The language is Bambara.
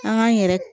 An k'an yɛrɛ